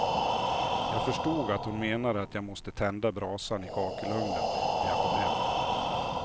Jag förstod att hon menade att jag måste tända brasan i kakelugnen när jag kom hem.